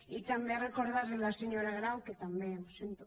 i també recordar li a la senyora grau que també sento